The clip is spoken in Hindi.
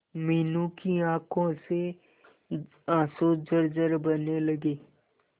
मीनू की आंखों से आंसू झरझर बहने लगे